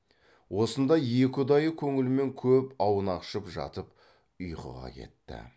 осындай екі ұдайы көңілмен көп аунақшып жатып ұйқыға кетті